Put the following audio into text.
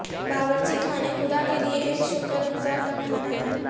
باورچی خانے خدا کے لئے ایک شکر گزار کا کھانا ہے